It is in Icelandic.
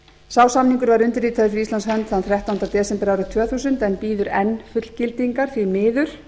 sá samningur var undirritaður fyrir íslands hönd þann þrettánda desember árið tvö þúsund en bíður enn fullgildingar því miður